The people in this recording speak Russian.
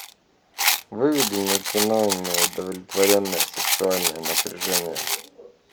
выведи мне кино неудовлетворенное сексуальное напряжение